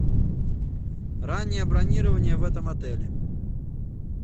раннее бронирование в этом отеле